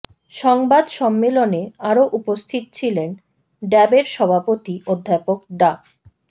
সংবাদ সম্মেলনে আরও উপস্থিত ছিলেন ড্যাবের সভাপতি অধ্যাপক ডা